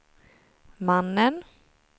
mannen